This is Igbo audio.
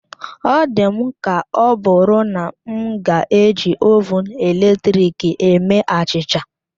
Ọ dị m ka ọbụrụ na m ga-eji Ovụn eletrik eme achịcha